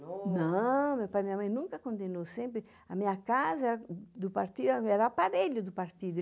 Não, meu pai e minha mãe nunca condenou, sempre... A minha casa era aparelho do partido.